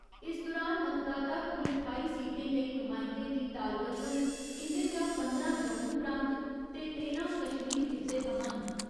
इस दुरान मतदाता कुल ठाई सीटें लेई नुमाइंदें दी ताल करङन इंदे चा पंदरां जम्मू प्रांत ते तेरां कश्मीर खित्ते थमां न।